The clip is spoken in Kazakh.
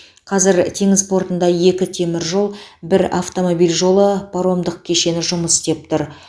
қазір теңіз портында екі теміржол бір автомобиль жолы паромдық кешені жұмыс істеп тұр